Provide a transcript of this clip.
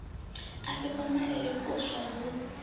a si kumalele kuswa hu